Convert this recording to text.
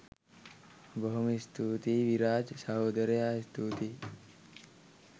බොහොම ස්තුතියි විරාජ් සහෝදරයා ස්තුතියි